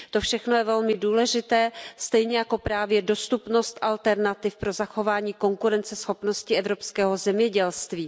To všechno je velmi důležité stejně jako právě dostupnost alternativ pro zachování konkurenceschopnosti evropského zemědělství.